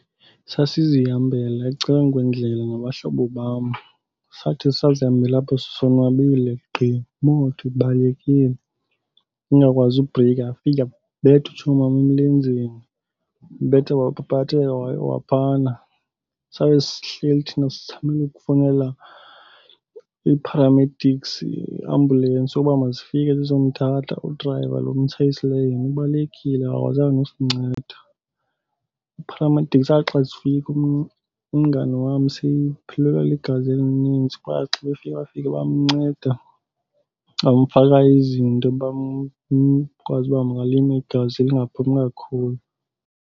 Sasizihambela ecaleni kwendlela nabahlobo bam. Sathi sisazihambela apho sisonwabile, gqi imoto ibalekile ingakwazi ubhrika. Yafika yabetha utshomam emlenzeni, yambetha waphaphatheka wayowa phana. Sabe sihleli thina sizamela ukufowunela ii-paramedics, iiambulensi uba mazifike zizomthatha. Udrayiva lo umtshayisileyo yena ubalekile, akakwazanga nokusinceda. Ii-paramedics zathi xa zifika umngani wam sephelelwa ligazi elininzi. Bathi xa befika bafika bamnceda bamfaka izinto uba , ukwazi uba malime igazi lingaphumi kakhulu.